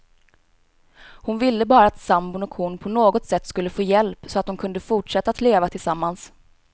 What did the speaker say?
Hon ville bara att sambon och hon på något sätt skulle få hjälp, så att de kunde fortsätta att leva tillsammans.